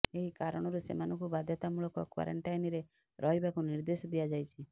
ଏହି କାରଣରୁ ସେମାନଙ୍କୁ ବାଧ୍ୟତାମୂଳକ କ୍ୱାରେଣ୍ଟାଇନରେ ରହିବାକୁ ନିର୍ଦ୍ଦେଶ ଦିଆଯାଇଛି